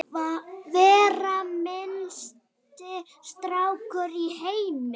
vera minnsti snákur í heimi